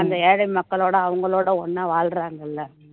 அந்த ஏழை மக்களோட அவங்களோட ஒண்ணா வாழ்றாங்க இல்ல